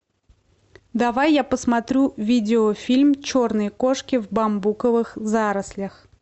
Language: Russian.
давай я посмотрю видеофильм черные кошки в бамбуковых зарослях